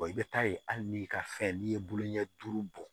i bɛ taa ye hali n'i ka fɛn n'i ye bolo ɲɛ duuru bɔ